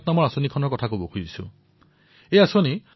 আৰু সেই পদক্ষেপটো হল জম্মুকাশ্মীৰ আৰু লাডাখৰ হিমায়ৎ কাৰ্যসূচী